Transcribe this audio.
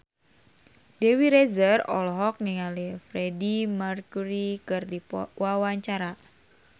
Dewi Rezer olohok ningali Freedie Mercury keur diwawancara